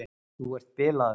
Þú ert bilaður!